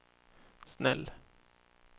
snäll